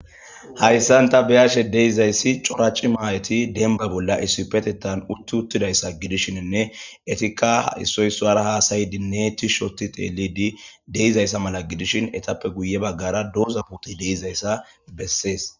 Haysan ta be'ashe dizaysi cora cimma Ayeti demba Bolla issipetethan UTi uttidaysa de'ishinene issoy isuwara Hatayidi tishi Oti xellidi De:izaysa mala Etape Guye bagara doza pitey Dizaysa beses